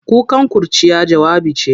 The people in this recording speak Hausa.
Kukan kurciya, jawabi ce.